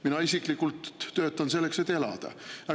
Mina isiklikult töötan selleks, et elada.